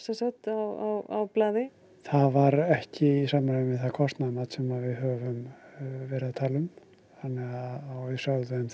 á blaði það var ekki í samræmi við það kostnaðarmat sem við höfum verið að tala um og við sögðum þeim